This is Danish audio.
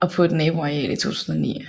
og på et naboareal i 2009